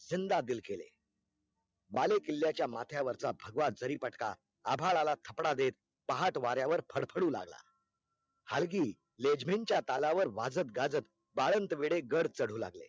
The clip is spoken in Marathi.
हिन्द आदिल केले बाले किल्याच्या माथयावरचा भगवा जरी पटका आभाळाला थपडा देत पाहट वाऱ्यावर फडफडू लागला हलकी LEJIM च्या तालावार वाजत गाजत बाळन्त वेढे गढ चढू लागले